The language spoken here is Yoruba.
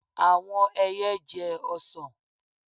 Àwọn ẹyẹ jẹ ọsàn.